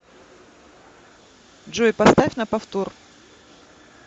джой поставь на повтор